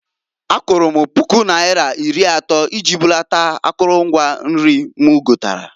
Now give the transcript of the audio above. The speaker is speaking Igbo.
Akwụrụ m pụku naira iri atọ iji bunata akụlụ mgwa nri m gotalụ.